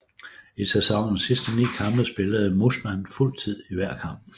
I sæsonens sidste 9 kampe spillede Mussmann fuld tid i hver kamp